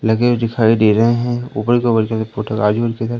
luggage दिखाई दे रहे हैं ऊपर फोटो आजू बाजू के घर--